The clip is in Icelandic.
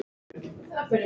Þetta er bíllinn minn